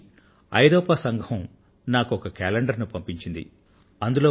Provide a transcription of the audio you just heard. ఈసారి European Union నాకు ఒక కేలెండర్ ను పంపించింది